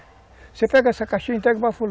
Você pega essa caixinha e entrega para fulano.